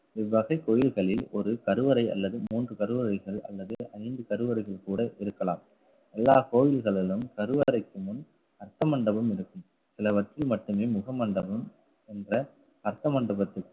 இவ்வகை கோயில்களில் ஒரு கருவறை அல்லது மூன்று கருவறைகள் அல்லது ஐந்து கருவறைகள் கூட இருக்கலாம். எல்லா கோயில்களிலும் கருவறைக்கு முன் ரத்த மண்டபம் இருக்கும். சிலவற்றை மட்டுமே முக மண்டபம் கொண்ட